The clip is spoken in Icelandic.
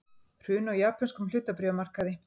Hrun á japönskum hlutabréfamarkaði